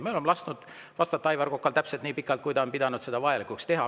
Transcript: Me oleme lasknud vastata Aivar Kokal täpselt nii pikalt, kui ta on pidanud seda vajalikuks teha.